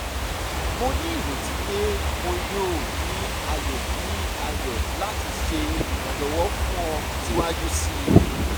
mo ni ireti pe mo yoo ni ayọ ni ayọ lati ṣe iranlọwọ fun ọ siwaju sii